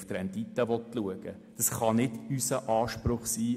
Als Kanton Bern kann dies nicht unser Anspruch sein.